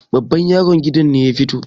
babban yaron gidan ne ya fito